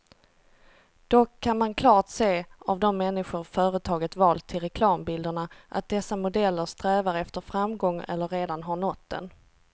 Dock kan man klart se av de människor företaget valt till reklambilderna, att dessa modeller strävar efter framgång eller redan har nått den.